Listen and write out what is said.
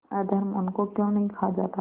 अधर्म उनको क्यों नहीं खा जाता